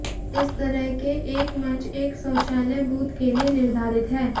इस तरह के एक मंच एक शौचालय बूथ के लिए निर्धारित है